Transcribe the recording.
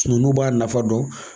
Nu b'a nafa dɔn.